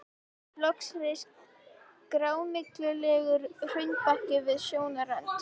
Loks reis grámyglulegur hraunbakki við sjónarrönd.